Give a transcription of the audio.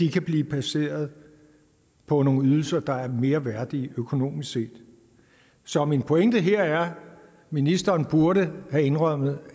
kan blive placeret på nogle ydelser der er mere værdige økonomisk set så min pointe her er ministeren burde have indrømmet